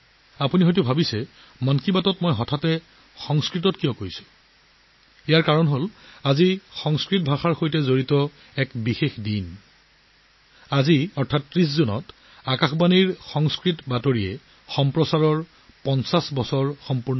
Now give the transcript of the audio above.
আপোনালোকে নিশ্চয় ভাবিছে যে মই হঠাতে 'মন কী বাত'ত সংস্কৃতত কিয় কথা ক'লো ইয়াৰ কাৰণ আজি সংস্কৃতৰ সৈতে জড়িত এটা বিশেষ অনুষ্ঠান আজি ৩০ জুনত আকাশবাণীৰ সংস্কৃত বুলেটিন সম্প্ৰচাৰৰ ৫০বছৰ সম্পূৰ্ণ কৰিছে